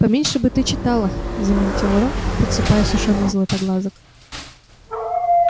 поменьше бы ты читала заметил рон подсыпая сушёных златоглазок